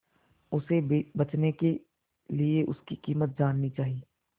उसे बचने के लिए उसकी कीमत जाननी चाही